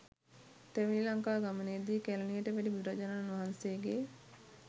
තෙවැනි ලංකා ගමනේදී කැලණියට වැඩි බුදුරජාණන් වහන්සේගේ